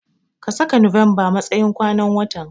Ka saka November matsayin kwanan watan.